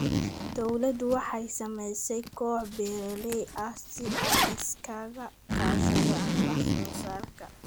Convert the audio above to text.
Dawladdu waxay samaysay kooxo beeralay ah si ay isaga kaashadaan wax soo saarka.